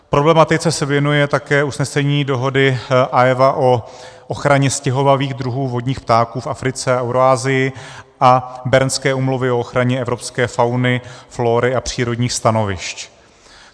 Problematice se věnuje také usnesení dohody AEWA o ochraně stěhovavých druhů vodních ptáků v Africe a Eurasii a Bernské úmluvy o ochraně evropské fauny, flóry a přírodních stanovišť.